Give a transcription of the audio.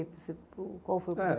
Qual foi o